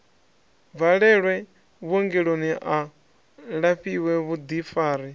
bvalelwe vhuongeloni a lafhiwe vhuḓifari